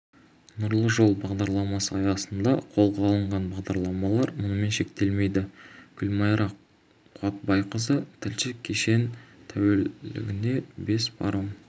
нұрлы жол бағдарламасы аясында қолға алынған бағдарламалар мұнымен шектелмейді гүлмайра қуатбайқызы тілші кешен тәулігіне бес паром